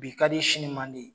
Bi kadi sini mandi